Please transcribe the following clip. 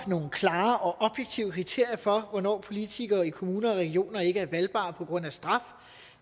nogle klare og objektive kriterier for hvornår politikere i kommuner og regioner ikke er valgbare på grund af straf